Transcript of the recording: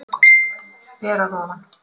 Ber að ofan.